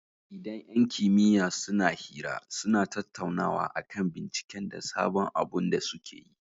Idan yan kimiya suna hira, suna tattaunawa akan binciken da sabon abun da sukeyi